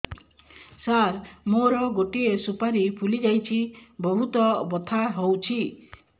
ସାର ମୋର ଗୋଟେ ସୁପାରୀ ଫୁଲିଯାଇଛି ବହୁତ ବଥା ହଉଛି